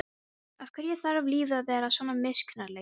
Af hverju þarf lífið að vera svona miskunnarlaust?